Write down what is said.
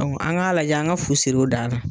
an ŋ'a lajɛ an ŋa fu sir'o dan na.